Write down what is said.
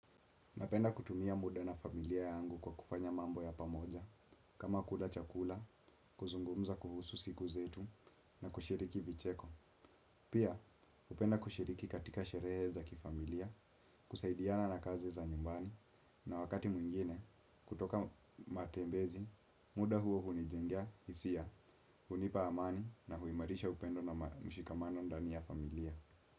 Napenda kutumia muda na familia yangu kwa kufanya mambo ya pamoja, kama kuda chakula, kuzungumza kuhusu siku zetu na kushiriki vicheko. Pia, upenda kushiriki katika sherehe za kifamilia, kusaidiana na kazi za nyumbani na wakati mwingine, kutoka matembezi, muda huo hunijengia hisia, hunipa amani na huimarisha upendo na mshikamano ndani ya familia.